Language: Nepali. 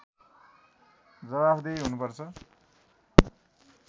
जवाफदेही हुनुपर्छ